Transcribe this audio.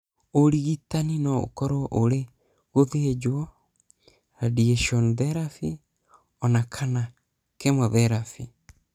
Ũrigitani no ũkorũo ũrĩ gũthĩnjwo, radiation therapy, ona kana chemotherapy.